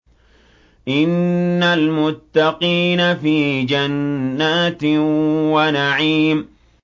إِنَّ الْمُتَّقِينَ فِي جَنَّاتٍ وَنَعِيمٍ